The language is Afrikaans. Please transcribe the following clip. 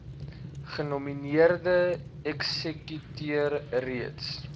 genomineerde eksekuteur reeds